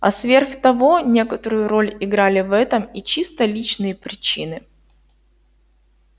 а сверх того некоторую роль играли в этом и чисто личные причины